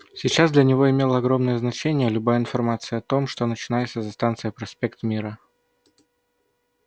сейчас для него имела огромное значение любая информация о том что начинается за станцией проспект мира